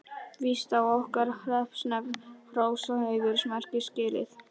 Víst á okkar hreppsnefnd hrós og heiðursmerki skilið.